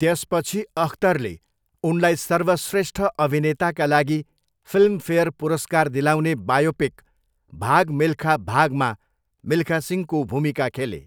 त्यसपछि अख्तरले उनलाई सर्वश्रेष्ठ अभिनेताका लागि फिल्मफेयर पुरस्कार दिलाउने बायोपिक 'भाग मिल्खा भाग'मा मिल्खा सिंहको भूमिका खेले।